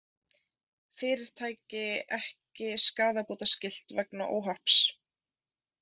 Fyrirtæki ekki skaðabótaskylt vegna óhapps